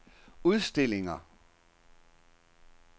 udstillinger